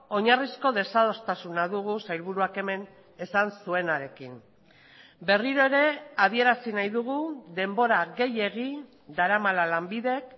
oinarrizko desadostasuna dugu sailburuak hemen esan zuenarekin berriro ere adierazi nahi dugu denbora gehiegi daramala lanbidek